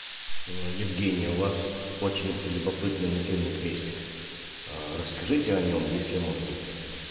евгения у вас очень любопытный нательный крестик расскажите о нём если можно